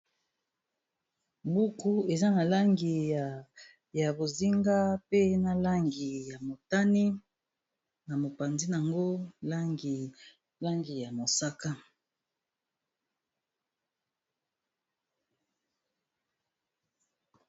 buku eza na langi ya bozinga pe na langi ya motani na mopanzi n yango langilangi ya mosaka